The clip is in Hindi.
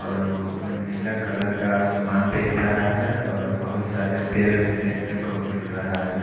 और नीला कलर का आसमान दिख रहा है और बहोत सारे पेड़ भी देखने को मिल रहा है।